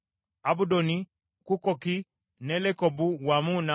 Kukkoki ne Lekobu wamu n’amalundiro gaabyo;